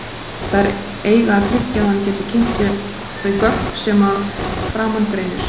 Þær eiga að tryggja að hann geti kynnt sér þau gögn sem að framan greinir.